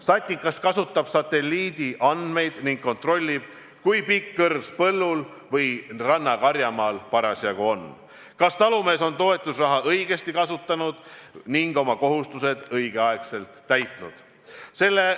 SATIKAS kasutab satelliidi andmeid ning kontrollib, kui pikk kõrs põllul või rannakarjamaal parasjagu on, kas talumees on toetusraha õigesti kasutanud ning õigel ajal oma kohustused täitnud.